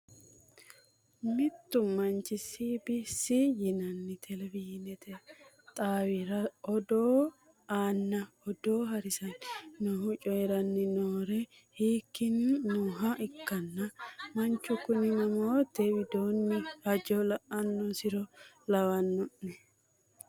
mittu manchi S B C yinanni televisionete xaawira odoo aanna odoo haaranni noohu coyiiranni noore hinkiilanni nooha ikkanna manchu kuni mootimmate widoonni hajo la'annosiha lawannoe.